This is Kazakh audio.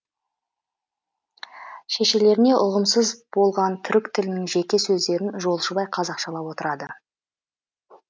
шешелеріне ұғымсыз болған түрік тілінің жеке сөздерін жолшыбай қазақшалап отырады